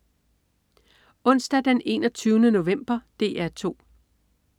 Onsdag den 21. november - DR 2: